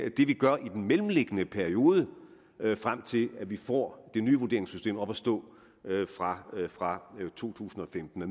vi gør i den mellemliggende periode frem til at vi får det nye vurderingssystem op at stå fra fra to tusind og femten og